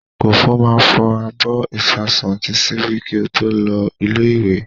Kòfó máa fọ abọ́, ìṣasùn àti ṣíbí kí ó tó lọ ilé-ìwé.